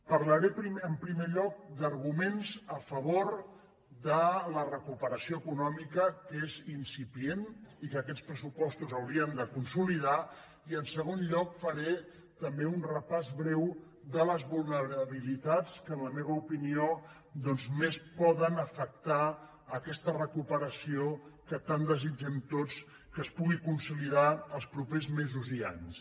parlaré en primer lloc d’arguments a favor de la re·cuperació econòmica que és incipient i que aquests pressupostos haurien de consolidar i en segon lloc faré també un repàs breu de les vulnerabilitats que en la meva opinió doncs més poden afectar aquesta re·cuperació que tan desitgem tots que es pugui consoli·dar els propers mesos i anys